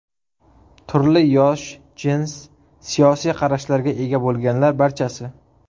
Turli yosh, jins, siyosiy qarashlarga ega bo‘lganlar barchasi.